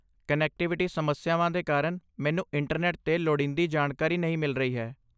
Connectivity ਸਮੱਸਿਆਵਾਂ ਦੇ ਕਾਰਨ ਮੈਨੂੰ ਇੰਟਰਨੈੱਟ 'ਤੇ ਲੋੜੀਂਦੀ ਜਾਣਕਾਰੀ ਨਹੀਂ ਮਿਲ ਰਹੀ ਹੈ।